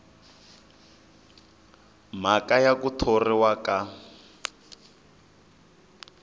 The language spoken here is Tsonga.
mhaka ya ku thoriwa ka